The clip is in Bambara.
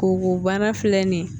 Ko wo bana filɛ nin ye